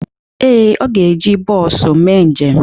Ee, ọ ga-eji bọọsu mee njem.